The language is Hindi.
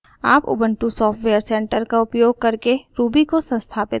आप उबंटु सॉफ्टवेयर सेंटर का उपयोग करके ruby को संस्थापित कर सकते हैं